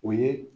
O ye